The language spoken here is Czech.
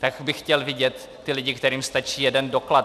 Tak bych chtěl vidět ty lidi, kterým stačí jeden doklad.